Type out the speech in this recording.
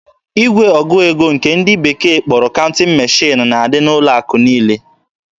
Igwe ọgụ ego nke ndị bekee kpọrọ "counting machine" na-adị n'ụlọ akụ niile.